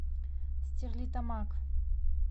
стерлитамак